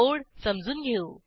code समजून घेऊ